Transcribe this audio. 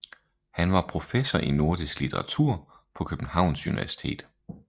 Han var professor i nordisk litteratur på Københavns Universitet